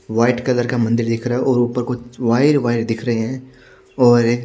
white colour का मन्दिर दिख रहा है और ऊपर कुछ वायर वायर दिख रहे हैं और--